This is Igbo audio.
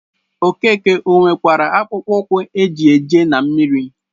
Okeke o nwekwara akpụkpọ ụkwụ e ji eje na mmiri?